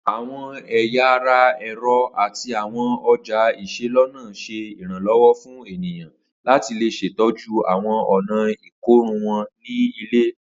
Awọn ẹya ara ẹrọ ati awọn ọja iselona ṣe iranlọwọ fun eniyan lati ṣetọju awọn ọna ikorun wọn ni ile